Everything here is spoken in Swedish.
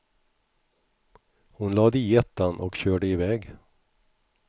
Hon lade i ettan och körde iväg.